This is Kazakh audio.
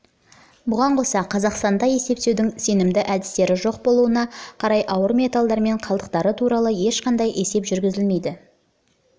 бұған қоса қазақстанда есептеудің сенімді әдістері жоқ болуына қарай ауыр металдар мен қалдықтары туралы ешқандай есеп жүргізілмейді